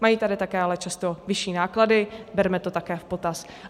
Mají tady také ale často vyšší náklady, bereme to také v potaz.